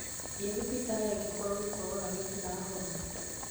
Thiĩ thibitarĩ angĩkorwo gĩkorora gĩtirahona